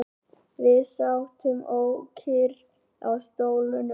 Við sátum ókyrr á stólunum.